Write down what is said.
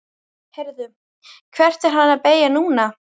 Heyrðu. hvert er hann að beygja núna?